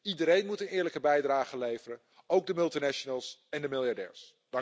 Iedereen moet een eerlijke bijdrage leveren, ook de multinationals en de miljardairs.